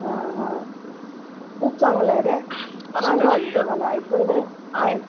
हा हा . खूप चांगले वाटते छान वाटलं मला एकंदरीत